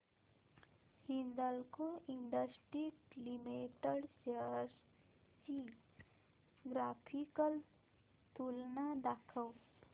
Hindalco industries limited shares ची graphical तुलना दाखव